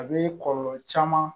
A bɛ kɔlɔlɔ caman